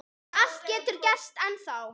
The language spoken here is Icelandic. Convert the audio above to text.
Allt getur gerst ennþá.